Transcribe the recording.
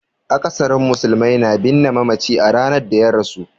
Akasarin musulmai na binne mamaci a ranar da ya rasu.